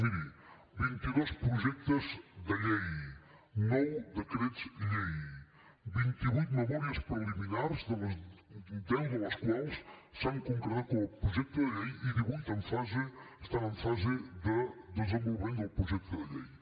miri vint i dos projectes de llei nou decrets llei vint i vuit memòries preliminars deu de les quals s’han concretat com a projecte de llei i divuit estan en fase de desenvolupament del projecte de llei